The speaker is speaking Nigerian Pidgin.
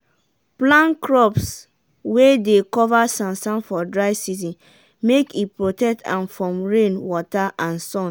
plan crops wey dey cover sansan for dry season make e protect am from plenty rain wata and sun.